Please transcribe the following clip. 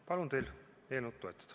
Palun teil eelnõu toetada!